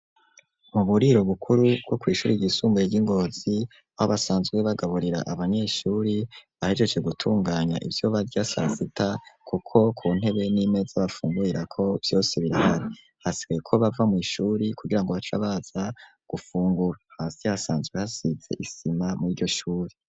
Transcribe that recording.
Mu buriro bukuru bwo kw'ishure ry'isumbuye ry'ingozi aho basanzwe bagaburira abanyesure bahejeje gutunganya ivyo barya sasita kuko ku ntebe n'imeze bafungurira ko vyose birahari hasikaye ko bava mu ishurkugirango baca baza gufungura hasi hasanzwe hasitse isima muri iryo shure.